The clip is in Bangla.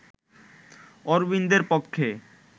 অরবিন্দের পক্ষে